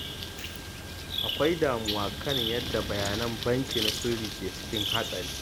Akwai damuwa kan yadda bayanan sirri na banki ke cikin hatsari.